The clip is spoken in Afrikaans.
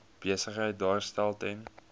besigheid daarstel ten